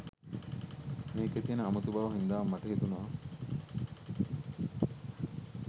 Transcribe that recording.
මේකේ තියෙන අමුතු බව හින්දාම මට හිතුණා